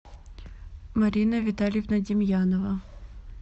марина витальевна демьянова